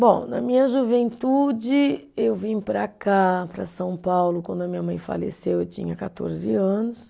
Bom, na minha juventude, eu vim para cá, para São Paulo, quando a minha mãe faleceu, eu tinha quatorze anos.